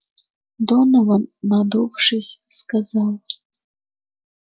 донован надувшись сказал